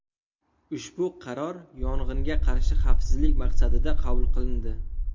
Ushbu qaror yong‘inga qarshi xavfsizlik maqsadida qabul qilindi.